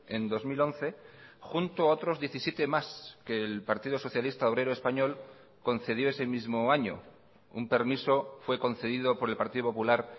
en dos mil once junto a otros diecisiete más que el partido socialista obrero español concedió ese mismo año un permiso fue concedido por el partido popular